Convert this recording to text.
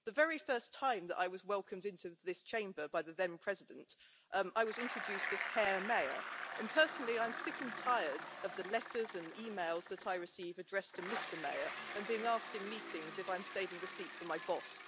The very first time that I was welcomed into this Chamber by the then President, I was introduced as Herr Mayer, and personally I am sick and tired of the letters and emails I receive that are addressed to Mr Mayer, and of being asked in meetings if I'm saving the seat for my boss.